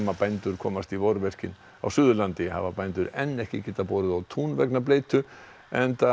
bændur komast í vorverkin á Suðurlandi hafa bændur enn ekki getað borið á tún vegna bleytu enda